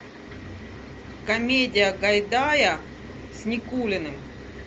комедия гайдая с никулиным